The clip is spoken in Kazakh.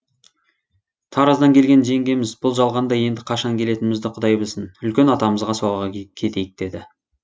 тараздан келген жеңгеміз бұл жалғанда енді қашан келетінімізді құдай білсін үлкен атамызға соға кетейік деді